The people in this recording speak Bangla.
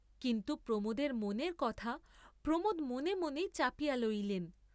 কিন্তু প্রমোদের মনের কথা প্রমোদ মনে মনেই চাপিয়া লইলেন।